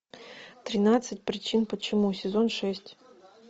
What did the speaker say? тринадцать причин почему сезон шесть